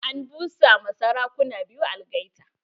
An busa ma sarakuna biyu algaita.